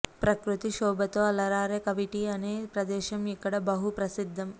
ప్రకృతి శోభతో అలరారే కవిటి అనే ప్రదేశం ఇక్కడ బహు ప్రసిద్ధం